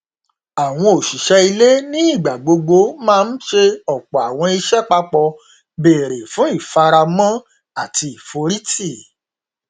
àwọn òṣìṣẹ ilé nígbà gbogbo máa n ṣe ọpọ àwọn iṣẹ papọ béré fún ìfaramọ àti ìforìtì